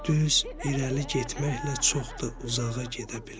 Düz irəli getməklə çox da uzağa gedə bilməz.